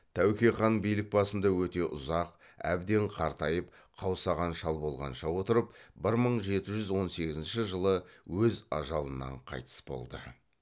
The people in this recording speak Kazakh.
тәуке хан билік басында өте ұзақ әбден қартайып қаусаған шал болғанша отырып бір мың жеті жүз он сегізінші жылы өз ажалынан қайтыс болды